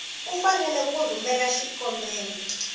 u fanele ku rhumela xikombelo